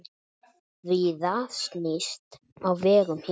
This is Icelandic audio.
Víða snýst á vegum hér.